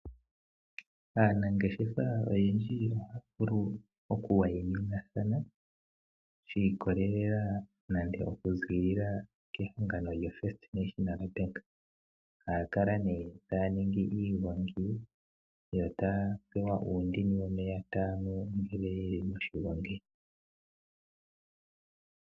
Aanangeshefa oyendji ohaya vulu oku wayiminathana shi ikolelela nande oku ziilila kehangano lyoFirst National Bank haya kala nee taya ningi iigongi, yo taya pewa uundini womeya taya nu ngele ye li moshigongi.